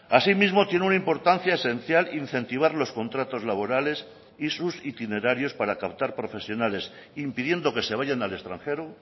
asimismo tiene una importancia esencial incentivar los contratos laborales y sus itinerarios para captar profesionales impidiendo que se vayan al extranjero